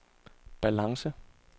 balance